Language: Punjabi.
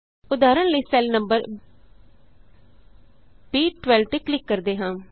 ਉਦਾਹਰਣ ਲਈ ਸੈੱਲ ਨੰਬਰ ਬੀ12 ਤੇ ਕਲਿਕ ਕਰਦੇ ਹਾਂ